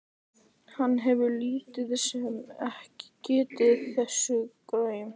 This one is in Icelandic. Hann hefur lítið sem ekkert gefið þessu gaum.